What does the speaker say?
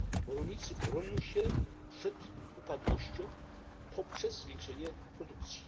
Rolnicy bronią się przed upadłością poprzez zwiększenie produkcji.